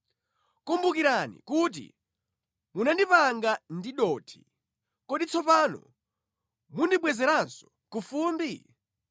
Kumbukirani kuti munandipanga ndi dothi, kodi tsopano mundibwezeranso ku fumbi?